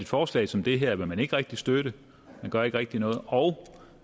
forslag som det her vil man ikke rigtig støtte man gør ikke rigtig noget og